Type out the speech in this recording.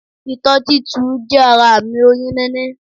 Itó títu jé ara àmì oyún níní